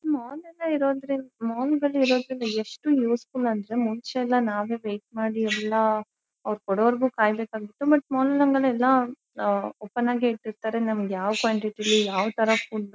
Mall ಎಲ್ಲಾ ಇರೊದ್ರಿಂದ mall ಗಳು ಇರೊದ್ರಿಂದ ಎಷ್ಟು ಯೂಸ್ಫುಲ್ ಅಂದ್ರೆ ಮುಂಚೆಯೆಲ್ಲಾ ನಾವೇ ವೇಟ್ ಮಾಡಿ ಎಲ್ಲಾಅವರು ಕೊಡವರಗೂ ಕಾಯಬೇಕಾಗಿತ್ತು ಮತ್ತೆ ಮಾಲ್ ಗಳೆಲ್ಲಾ ಆಹ್ ಓಪನ್ ಆಗಿ ಇಟ್ಟಿರತ್ತಾರೆ ನಮಗೆ ಯಾವ ಕ್ಕ್ವಾಂಟಿಟಿ ಯಲ್ಲಿ ನಮಗೆ ಯಾವ ತರ ಫುಡ್ ಬೇ --.